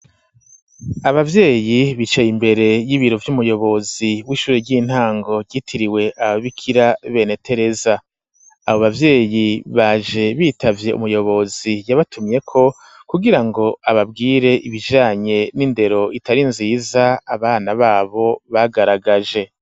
Ababyeyi bicaye imbere y'ibiro vy'umuyobozi w'ishuri ry'intango ryitiriwe ababikira bene Tereza, abo bavyeyi baje bitavye umuyobozi yabatumyeko kugira ngo ababwire ibijanye n'indero itari nziza abana babo bagaragaje.